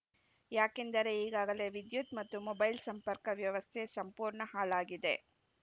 ಯಾಕೆಂದರೆ ಈಗಾಗಲೇ ವಿದ್ಯುತ್‌ ಮತ್ತು ಮೊಬೈಲ್‌ ಸಂಪರ್ಕ ವ್ಯವಸ್ಥೆ ಸಂಪೂರ್ಣ ಹಾಳಾಗಿದೆ